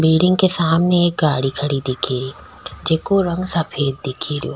Building के सामने एक गाड़ी खड़ी दिखे री जिको रंग सफ़ेद दिखे रियो।